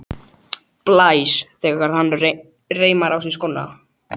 Blæs þegar hann reimar á sig skóna.